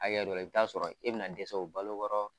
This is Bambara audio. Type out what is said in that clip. Akɛya dɔ la i bi taa sɔrɔ e bɛna dɛsɛ u balo kɔrɔ